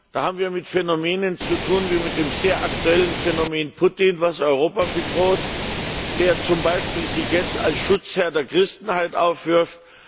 Da haben wir mit Phänomenen zu tun wie mit dem sehr aktuellen Phänomen Putin, das Europa bedroht, der zum Beispiel sich jetzt als Schutzherr der Christenheit aufwirft.